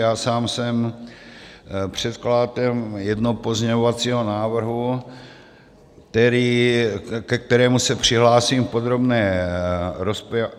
Já sám jsem předkladatel jednoho pozměňovacího návrhu, ke kterému se přihlásím v podrobné rozpravě.